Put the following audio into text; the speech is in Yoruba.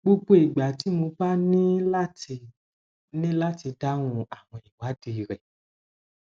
gbogbo ìgbà tí mo bá ní láti ní láti dáhùn àwọn ìwádìí rẹ